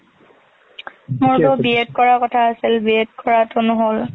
মই B.ED কৰা কথা আছিল, B.ED কৰাটো নহল।